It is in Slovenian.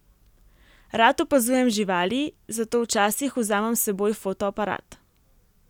Rad opazujem živali, zato včasih vzamem s seboj fotoaparat.